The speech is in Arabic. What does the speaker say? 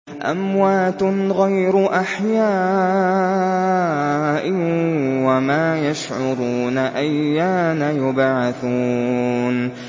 أَمْوَاتٌ غَيْرُ أَحْيَاءٍ ۖ وَمَا يَشْعُرُونَ أَيَّانَ يُبْعَثُونَ